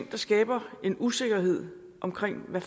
der skaber en usikkerhed omkring hvad